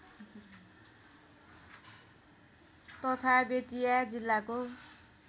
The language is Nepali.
तथा बेतिया जिल्लाको